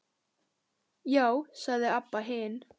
Já, sagði Abba hin.